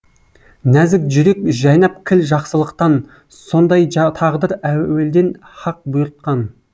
нәзік жүрек жайнап кіл жақсылықтан сондай тағдыр әуелден һақ бұйыртқан